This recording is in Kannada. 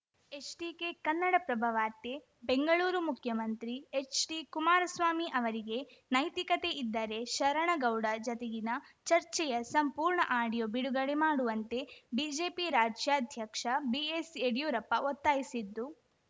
ಎಚ್ಡಿಕೆ ಕನ್ನಡಪ್ರಭ ವಾರ್ತೆ ಬೆಂಗಳೂರು ಮುಖ್ಯಮಂತ್ರಿ ಎಚ್‌ಡಿ ಕುಮಾರಸ್ವಾಮಿ ಅವರಿಗೆ ನೈತಿಕತೆ ಇದ್ದರೆ ಶರಣಗೌಡ ಜತೆಗಿನ ಚರ್ಚೆಯ ಸಂಪೂರ್ಣ ಆಡಿಯೋ ಬಿಡುಗಡೆ ಮಾಡುವಂತೆ ಬಿಜೆಪಿ ರಾಜ್ಯಾಧ್ಯಕ್ಷ ಬಿಎಸ್‌ ಯಡಿಯೂರಪ್ಪ ಒತ್ತಾಯಿಸಿದ್ದು